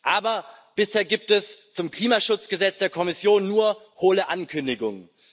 Aber bisher gibt es zum Klimaschutzgesetz der Kommission nur hohle Ankündigungen.